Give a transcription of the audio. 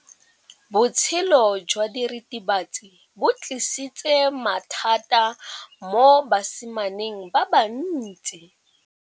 Botshelo jwa diritibatsi ke bo tlisitse mathata mo basimaneng ba bantsi.